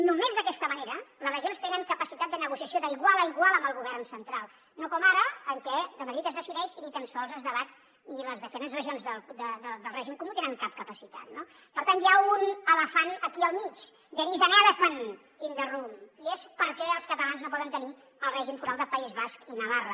només d’aquesta manera les regions tenen capacitat de negociació d’igual a igual amb el govern central no com ara en què de madrid es decideix i ni tan sols es debat ni les diferents regions del règim comú tenen cap capacitat no per tant hi ha un elefant aquí al mig there is an elephant in the room i és per què els catalans no poden tenir el règim foral del país basc i navarra